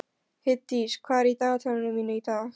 Heiðdís, hvað er í dagatalinu mínu í dag?